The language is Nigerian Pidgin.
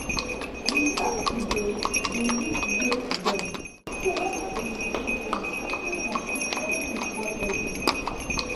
we start to dey dey use raised beds so water no go soak ground too much when rain fall heavy